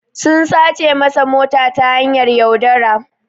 sun sace masa mota ta hanyar yaudara.